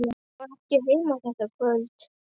Hann var ekki heima þetta kvöld.